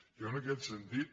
jo en aquest sentit